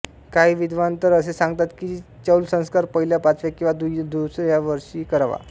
काही विव्दान तर असे सांगतात की चौलसंस्कार पहिल्या पाचव्या किंवा दुस्या वर्षी करावा